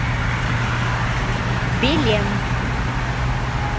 белен